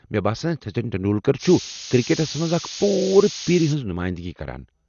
مےٚ باسان سچِن چھُ کرکٹس منٛز أکِس پوٗرٕ پیرِ ہنٛز نماینٛدگی کران۔